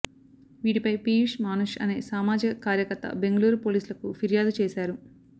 వీటిపై పీయూష్ మానుష్ అనే సామాజిక కార్యకర్త బెంగళూరు పోలీసులకు ఫిర్యాదు చేశారు